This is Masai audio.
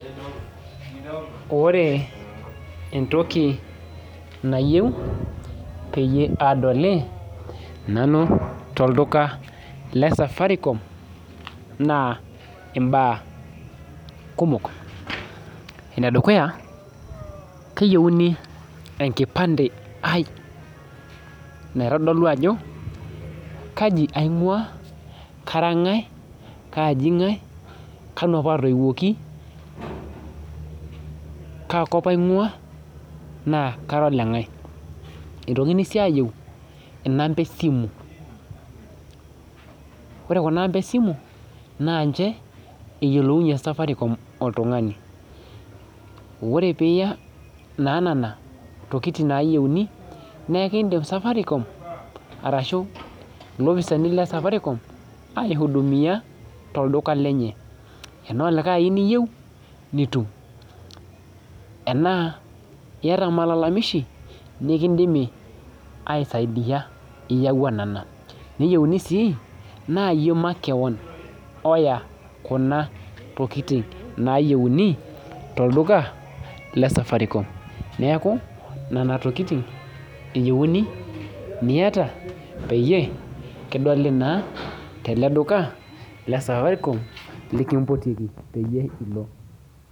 Ore entoki nayieu peyie aadoli nanu tolduka le Safaricom na aimbaa kumok enedukuya keyieuni enkipande aai naitodolu ajo kaji aing'ua kara ng'ae kanu apa atoiuoki kaakop aing'ua naa kara oleng'ae eitoki sii aayieu inamba esimu ore kuna amba esimu naa ninche eyielounyie Safaricom oltung'ani ore pee iyaa naanana tokitin naayieu naa keidim Safaricom ilopisaani lesafaricom aihudumia tolduka lenye tenaa likae aini iyieu nitum enaa iyata malalamishi nikindimi aisaidia iyaua nena nieyiuni sii naa iyie makewon oya kuna tokitin naayieuni tolduka le Safaricom neeku nena tokitin eyieuni niata peyie kidoli naa tolduka le Safaricom likimpotieki pee ilo.